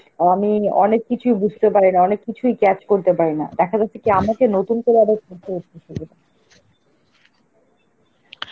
আমি অনেক কিছুই বুঝতে পারিনা, অনেক কিছুই catch করতে পারিনা, দেখা যাচ্ছে কি আমাকে নতুন করে আবার